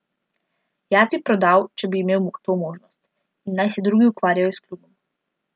Jaz bi prodal, če bi imel to možnost, in naj se drugi ukvarjajo s klubom.